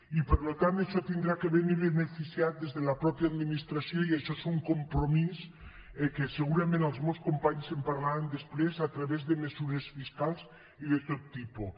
i per tant això haurà de venir beneficiat des de la mateixa administració i això és un compromís del qual segurament els meus companys en parlaran després a través de mesures fiscals i de tot tipus